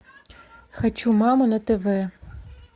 хочу мама на тв